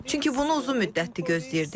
Çünki bunu uzun müddətdir gözləyirdik.